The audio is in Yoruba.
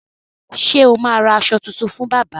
Ṣé o ma ra aṣọ tuntun fún bábà?